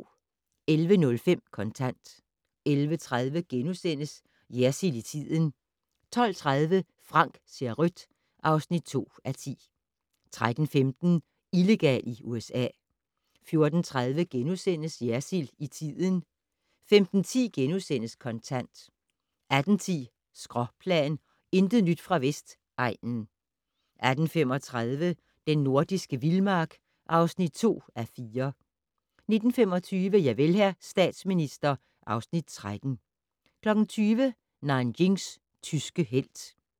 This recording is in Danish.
11:05: Kontant 11:30: Jersild i tiden * 12:30: Frank ser rødt (2:10) 13:15: Illegal i USA 14:30: Jersild i tiden * 15:10: Kontant * 18:10: Skråplan - intet nyt fra Vestegnen 18:35: Den nordiske vildmark (2:4) 19:25: Javel, hr. statsminister (Afs. 13) 20:00: Nanjings tyske helt